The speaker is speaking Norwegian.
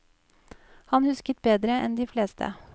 Han husket bedre enn de fleste.